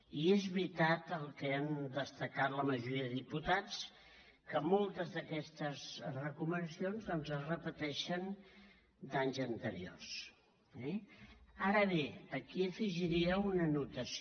i és veritat el que han destacat la majoria de diputats que moltes d’aquestes recomanacions doncs es repeteixen d’anys anteriors eh ara bé aquí afegiria una anotació